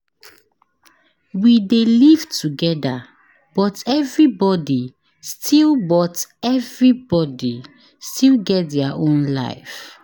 We dey live togeda but everybodi still but everybodi still get their own life.